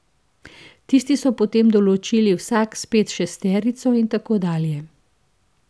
Tisti so potem določili vsak spet šesterico in tako dalje.